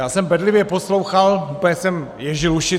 Já jsem bedlivě poslouchal, úplně jsem ježil uši.